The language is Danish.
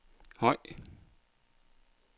høj